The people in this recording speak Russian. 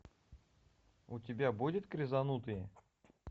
у тебя будет крезанутые